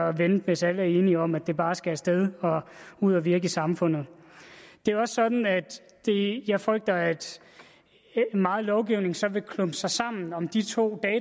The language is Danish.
at vente hvis alle er enige om at det bare skal af sted og ud at virke i samfundet det er også sådan at jeg frygter at meget lovgivning så vil klumpe sig sammen om de to